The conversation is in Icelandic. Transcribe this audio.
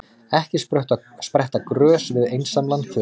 Ekki spretta grös við einsamlan þurrk.